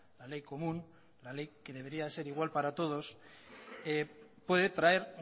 la ley común la ley que debería ser igual para todos puede traer